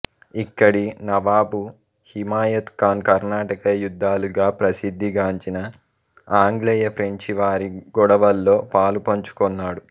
ఇక్కడి నవాబు హిమాయత్ ఖాన్ కర్ణాటక యుద్ధాలుగా ప్రసిద్ధి గాంచిన ఆంగ్లేయఫ్రెంచి వారి గొడవల్లో పాలుపంచుకొన్నాడు